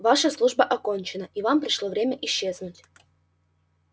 ваша служба окончена и вам пришло время исчезнуть